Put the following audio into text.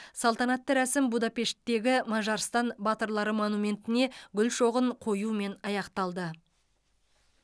салтанатты рәсім будапешттегі мажарстан батырлары монументіне гүл шоғын қоюмен аяқталды